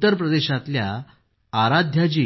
उत्तर प्रदेशातल्या आराध्या जी